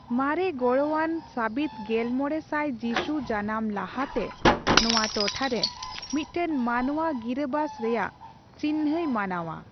ᱢᱟᱨᱮᱜᱚᱲᱦᱚᱱᱟᱱ ᱥᱟᱹᱵᱤᱫ ᱜᱮᱞᱢᱚᱲᱮ ᱥᱟᱭ ᱡᱤᱥᱩ ᱡᱟᱱᱟᱢ ᱞᱟᱦᱟ ᱛᱮ ᱱᱚᱣᱟ ᱴᱚᱴᱷᱟ ᱨᱮ ᱢᱤᱫᱴᱟᱝ ᱢᱟᱱᱣᱟ ᱜᱤᱨᱟᱹᱵᱟᱥ ᱨᱮᱭᱟᱜ ᱪᱤᱱᱦᱟᱹᱭ ᱢᱟᱱᱟᱣᱼᱟ ᱾